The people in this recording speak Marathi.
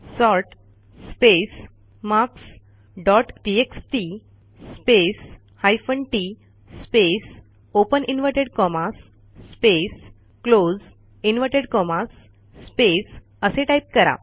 sort space marks dot TXT space hyphen TT space open inverted commas space close inverted commas space असे टाईप करा